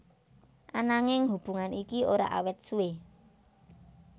Ananging hubungan iki ora awet suwé